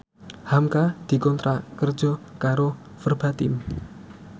hamka dikontrak kerja karo Verbatim